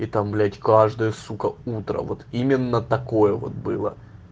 там блять каждый сука утра вот именно такое вот было